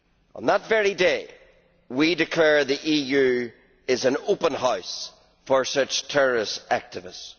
On that very day, we declare the EU is an open house for such terrorist activists.